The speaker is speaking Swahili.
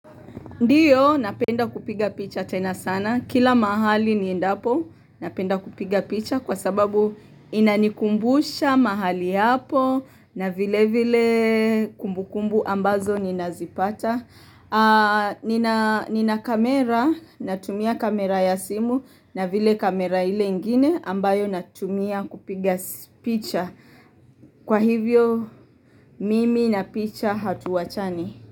Ndiyo, napenda kupiga picha tena sana. Kila mahali niendapo, napenda kupiga picha kwa sababu inanikumbusha mahali hapo na vile vile kumbukumbu ambazo ninazipata. Nina kamera, natumia kamera ya simu na vile kamera ile ingine ambayo natumia kupiga picha. Kwa hivyo, mimi na picha hatuwachani.